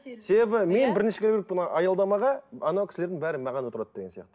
себебі мен бірінші келіппін аялдамаға ана кісілердің бәрі маған отырады деген сияқты